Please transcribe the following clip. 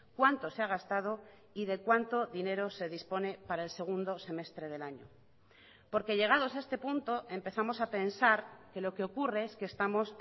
cuánto se ha gastado y de cuánto dinero se dispone para el segundo semestre del año porque llegados a este punto empezamos a pensar que lo que ocurre es que estamos